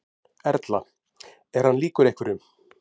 Erla: Er hann líkur einhverjum?